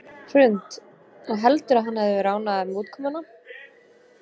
Hrund: Og heldurðu að hann hefði verið ánægður með útkomuna?